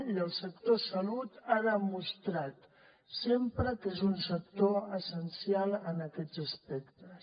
i el sector salut ha demostrat sempre que és un sector essencial en aquests aspectes